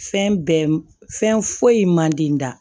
Fɛn bɛɛ fɛn foyi man di n da